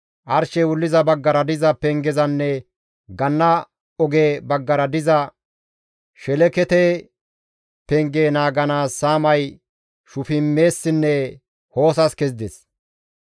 Arshey wulliza baggara diza pengezanne ganna oge baggara diza Shelekete penge naaganaas saamay Shufimessinne Hoosas kezides.